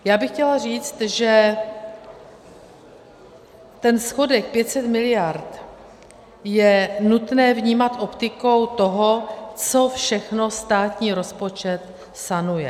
Já bych chtěla říct, že ten schodek 500 miliard je nutné vnímat optikou toho, co všechno státní rozpočet sanuje.